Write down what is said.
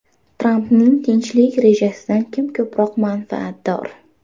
Trampning tinchlik rejasidan kim ko‘proq manfaatdor?